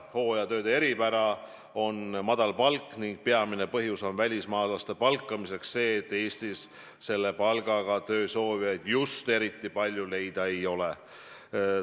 Hooajatööde eripära on madal palk ning peamine põhjus välismaalaste palkamiseks on see, et Eestis selle palgaga töö soovijaid eriti palju leida ei ole.